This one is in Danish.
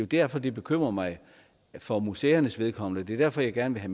derfor det bekymrer mig for museernes vedkommende og det er derfor jeg gerne vil